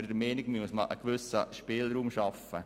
Hier sollte man einen gewissen Spielraum schaffen.